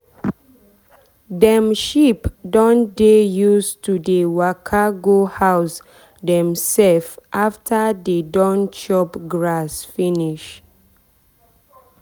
dem sheep don dey use to dey waka go house dem sef after dey don chop grass finish.